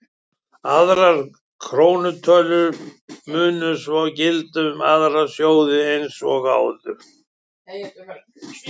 Aðrar krónutölur mundu svo gilda um aðra sjóði eins og áður.